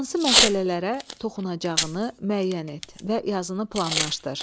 Hansı məsələlərə toxunacağını müəyyən et və yazını planlaşdır.